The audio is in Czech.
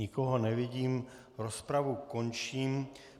Nikoho nevidím, rozpravu končím.